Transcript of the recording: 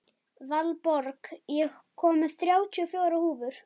Valborg, ég kom með þrjátíu og fjórar húfur!